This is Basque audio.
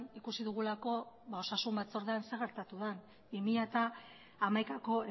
ikusi dugulako osasun batzordean zer gertatu den bi mila hamaikako